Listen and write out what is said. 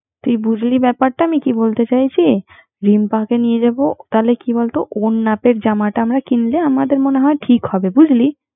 তুই বুঝলি ব্যাপারটা আমি কি বলতে চাইছে রিম্পাকে নিয়া যাবো, তাহলে ওর মাপে জামাটা আমরা কিনলে আমাদের মনে হয় ঠিক হবে